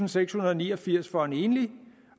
og sekshundrede og niogfirs kroner for en enlig